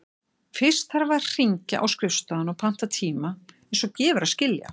Fyrst þarf að hringja á skrifstofuna og panta tíma, eins og gefur að skilja.